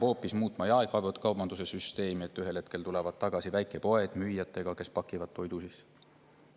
Võib-olla peab muutma hoopis jaekaubanduse süsteemi, et ühel hetkel tulevad tagasi väikepoed koos müüjatega, kes pakivad toidu sisse?